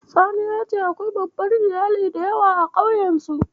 Salisu ya ce akwai babban Iyali da yawa a ƙauyensu.